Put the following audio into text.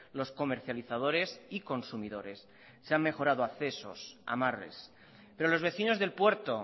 los comercializadores y consumidores se han mejorado accesos amarres pero los vecinos del puerto